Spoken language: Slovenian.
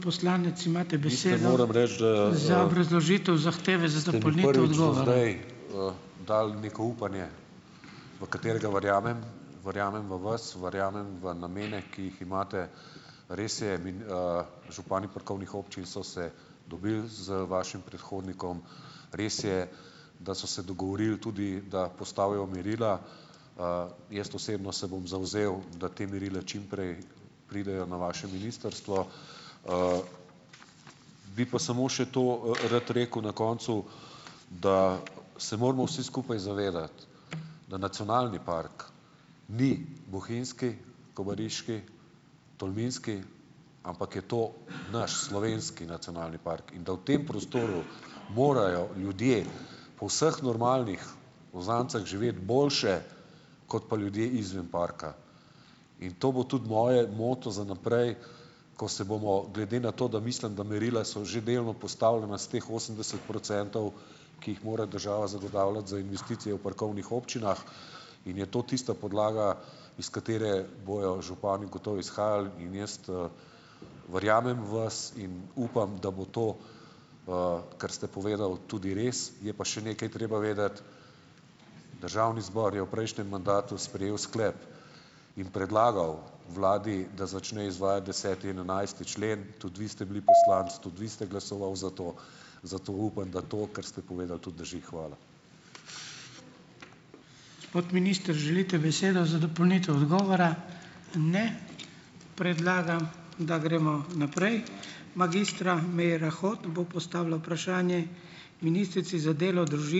Dal neko upanje, v katerega verjamem. Verjamem v vas. Verjamem v namene, ki jih imate. Res je, župani parkovnih občin so se dobili z vašim predhodnikom. Res je, da so se dogovorili tudi, da postavijo merila. Jaz osebno se bom zavzel, da te merile čim prej pridejo na vaše ministrstvo. Bi pa samo še, to rad rekel na koncu, da se moramo vsi skupaj zavedati, da nacionalni park ni bohinjski, kobariški, tolminski, ampak je to naš, slovenski nacionalni park. In da v tem prostoru morajo ljudje po vseh normalnih uzancah živeti boljše, kot pa ljudje izven parka. In to bo tudi moj moto za naprej, ko se bomo, glede na to, da mislim, da merila so že delno postavljena s teh osemdeset procentov, ki jih mora država zagotavljati za investicijo v parkovnih občinah, in je to tista podlaga, iz katere bojo župani gotovo izhajali, in jaz verjamem vas in upam, da bo to, kar ste povedal, tudi res. Je pa še nekaj treba vedeti, državni zbor je v prejšnjem mandatu sprejel sklep in predlagal vladi, da začne izvaja deseti in enajsti člen. Tudi vi ste bili poslanec, tudi vi ste glasoval za to. Zato upam, da to, kar ste povedali, tudi drži. Hvala.